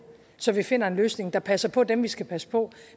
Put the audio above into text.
så vi finder en løsning der passer på dem vi skal passe på